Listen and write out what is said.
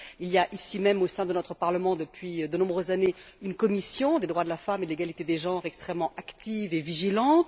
Il y a ici même, au sein de notre Parlement depuis de nombreuses années, une commission des droits de la femme et de l'égalité des genres extrêmement active et vigilante.